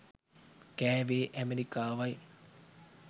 කෑවේ ඇමරිකාවයි.